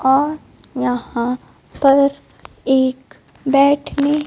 और यहां पर एक बैठने--